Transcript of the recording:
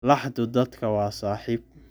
Laxdu dadka waa saaxiib.